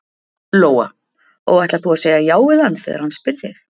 Lóa: Og ætlar þú að segja já við hann þegar hann spyr þig?